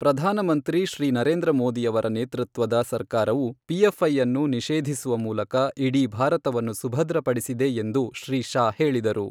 ಪ್ರಧಾನಮಂತ್ರಿ ಶ್ರೀ ನರೇಂದ್ರ ಮೋದಿಯವರ ನೇತೃತ್ವದ ಸರ್ಕಾರವು ಪಿಎಫ್ ಐಅನ್ನು ನಿಷೇಧಿಸುವ ಮೂಲಕ ಇಡೀ ಭಾರತವನ್ನು ಸುಭದ್ರಪಡಿಸಿದೆ ಎಂದು ಶ್ರೀ ಶಾ ಹೇಳಿದರು.